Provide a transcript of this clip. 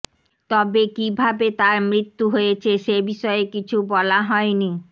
তবে কীভাবে তার মৃত্যু হয়েছে সেবিষয়ে কিছু বলা হয়নি